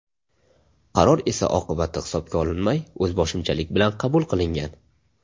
Qaror esa oqibati hisobga olinmay, o‘zboshimchalik bilan qabul qilingan.